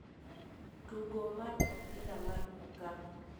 Tugo mar opira mar okapu